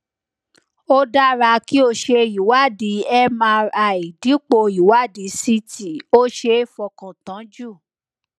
ó dára kí o ṣe ìwádìí mri dípò ìwádìí ct ó ṣeé fọkàn tán jù